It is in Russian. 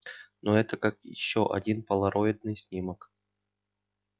но это как ещё один полароидный снимок